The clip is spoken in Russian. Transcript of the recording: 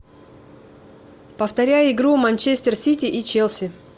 повторяй игру манчестер сити и челси